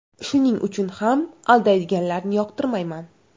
Shuning uchun ham aldaydiganlarni yoqtirmayman.